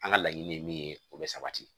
An ka laɲini ye min ye o bɛ sabati